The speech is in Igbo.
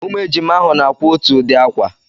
Ụmụ ejima ahụ na-akwa otú ụdị ákwà